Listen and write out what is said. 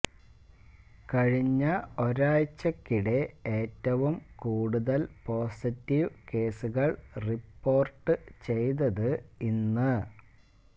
കഴിഞ്ഞ ഒരാഴ്ചയ്ക്കിടെ ഏറ്റവും കൂടുതല് പോസിറ്റീവ് കേസുകള് റിപ്പോര്ട്ട് ചെയ്തത് ഇന്ന്